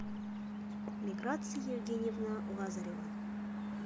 миграция евгеньевна лазарева